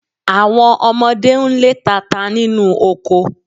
Àwọn ọmọdé ń lé tata nínú oko